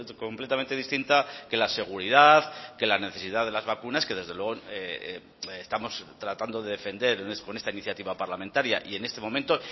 completamente distinta que la seguridad que la necesidad de las vacunas que desde luego estamos tratando de defender con esta iniciativa parlamentaria y en este momento